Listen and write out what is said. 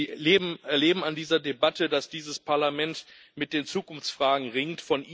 Sie erleben an dieser Debatte, dass dieses Parlament mit den Zukunftsfragen ringt.